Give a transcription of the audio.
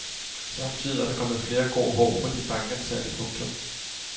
Samtidig er der kommer flere grå hår på de bankansatte. punktum